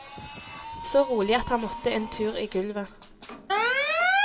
Så rolig at han måtte en tur i gulvet.